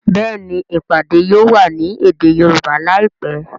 Béèni ìpàdé yóò wá ní èdè Yorùbá láìpé.